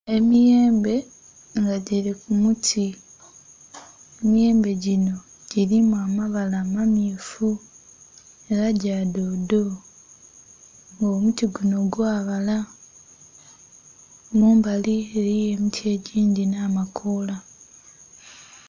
Emiyembe nga girikumuti, emiyembe ginho girimu amabala amammyufu era gyadodo nga omuti gunho gwabala. Mumbali eriyo emiti egindhi nhamakola.